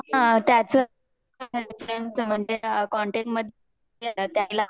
हो त्याच म्हणजे मध्ये नाही न त्याला